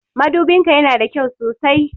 Madubin ka ya na da kyau sosai.